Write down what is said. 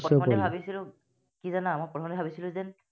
কি জানা, মই প্ৰথমতে ভাবিছিলো যে,